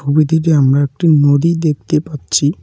ছবিটিতে আমরা একটি নদী দেখতে পাচ্ছি।